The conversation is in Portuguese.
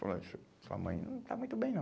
Falou. ó su sua mãe não está muito bem, não.